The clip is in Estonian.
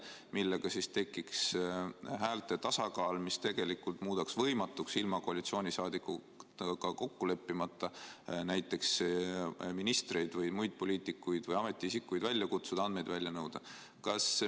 Sellega tekiks häälte tasakaal, mis tegelikult muudaks võimatuks ilma koalitsiooniliikmetega kokku leppimata näiteks ministreid, muid poliitikuid või ametiisikuid välja kutsuda ja andmeid välja nõuda.